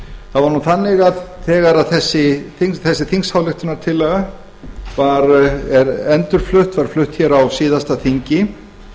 það var þannig að þegar þessi þingsályktunartillaga er endurflutt var flutt hér á síðasta þingi